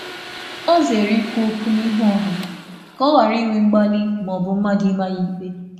Ọ zere ikwu n’ihu mmadụ ka ọ ghara ịda n’ọnu ma um ọ bụ imerụ onwe ya n’echiche.